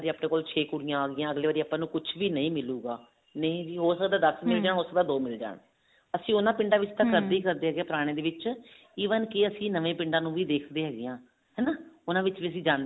ਆਪਣੇ ਕੋਲ ਛੇ ਕੁੜੀਆਂ ਆਗੀਆਂ ਅਗਲੀ ਵਾਰੀ ਆਪਾਂ ਨੂੰ ਕੁਛ ਵੀ ਨਹੀਂ ਮਿਲੁਗਾ ਨਹੀ ਹੋ ਸਕਦਾ ਦਸ ਮਿਲ ਜਾਣ ਸਕਦਾ ਦੋ ਮਿਲ ਜਾਣ ਅਸੀਂ ਉਹਨਾ ਪਿੰਡਾਂ ਜੀ ਕਰਦੇ ਹਾਂ ਪੁਰਾਣਿਆਂ ਦੇ ਵਿੱਚ even ਕੀ ਅਸੀਂ ਨਵੇਂ ਪਿੰਡਾਂ ਨੂੰ ਵੀ ਦੇਖਦੇ ਹੈਗੇ ਹਾਂ ਨਵੇਂ ਪਿੰਡਾਂ